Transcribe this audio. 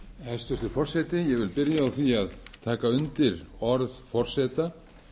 hæstvirtur forseti ég vil byrja á því að taka undir orð forseta